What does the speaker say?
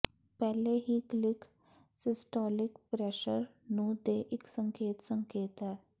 ਪਹਿਲੇ ਹੀ click systolic pressure ਨੂੰ ਦੇ ਇੱਕ ਸੰਕੇਤ ਸੰਕੇਤ ਹੈ